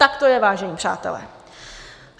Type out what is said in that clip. Tak to je, vážení přátelé.